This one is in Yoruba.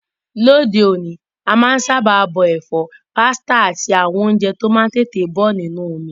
Lóde òní, a má n sábà bọ èfọ́, pasta áti àwon ounje to má n tètè bo nínú omi